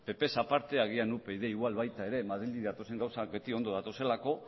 ppz aparte agian upyd igual baita ere madrildik datozen gauzak ondo datozelako